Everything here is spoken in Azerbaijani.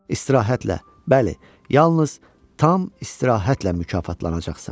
İstirahətlə, bəli, yalnız tam istirahətlə mükafatlanacaqsan.